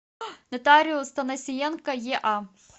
нотариус танасиенко еа